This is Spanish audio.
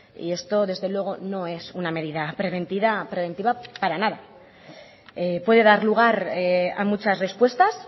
y esto desde luego no es una medida preventiva para nada puede dar lugar a muchas respuestas